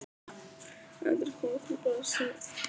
Endurkoma til Brasilíu?